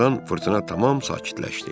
Bir azdan fırtına tamam sakitləşdi.